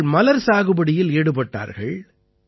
அவர்கள் மலர் சாகுபடியில் ஈடுபட்டார்கள்